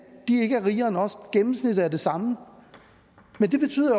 de ikke er rigere end os at gennemsnittet er det samme men det betyder